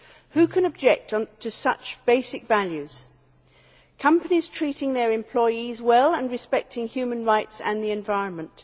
Who can object to such basic values as companies treating their employees well and respecting human rights and the environment?